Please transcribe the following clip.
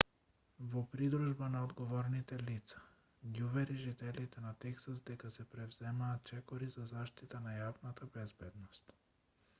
во придружба на одговорните лица ги увери жителите на тексас дека се преземаат чекори за заштита на јавната безбедност